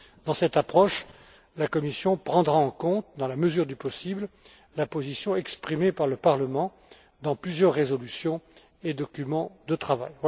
Dans cette approche, la Commission prendra en compte, dans la mesure du possible, la position exprimée par le Parlement européen dans plusieurs résolutions et documents de travail.